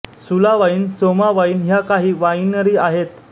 सुला wine Soma wine ह्या काही वाईनरी आहेत